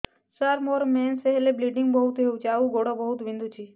ସାର ମୋର ମେନ୍ସେସ ହେଲେ ବ୍ଲିଡ଼ିଙ୍ଗ ବହୁତ ହଉଚି ଆଉ ଗୋଡ ବହୁତ ବିନ୍ଧୁଚି